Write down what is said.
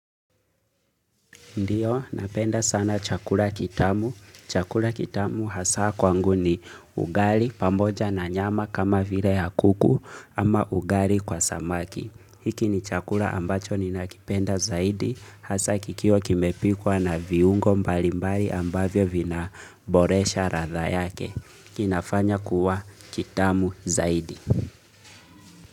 Ndiyo, napenda sana chakula kitamu. Chakula kitamu hasa kwangu ni ugali pamoja na nyama kama vile ya kuku ama ugali kwa samaki. Hiki ni chakula ambacho ni ninakipenda zaidi hasa kikiwa kimepikwa na viungo mbalimbali ambavyo vina boresha radha yake. Kinafanya kuwa kitamu zaidi.